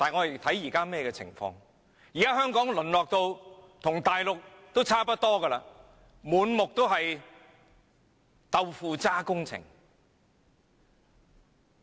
現時香港已淪落至與內地差不多的地步，滿目皆是"豆腐渣"工程。